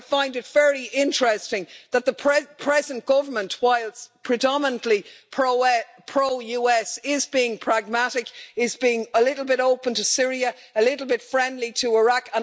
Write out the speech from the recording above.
I find it very interesting that the present government, whilst predominantly pro US, is being pragmatic, is being a little bit open to Syria, a little bit friendly to Iraq.